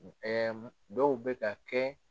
Ɛɛ dɔw bɛ ka kɛ